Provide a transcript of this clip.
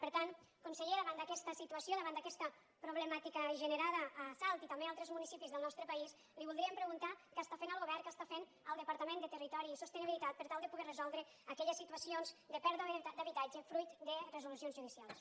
per tant conseller davant d’aquesta situació davant d’a questa problemàtica generada a salt i també a altres municipis del nostre país li voldríem preguntar què està fent el govern què està fent el departament de territori i sostenibilitat per tal de poder resoldre aquelles situacions de pèrdua d’habitatge fruit de resolucions judicials